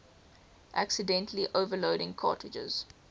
accidentally overloading cartridges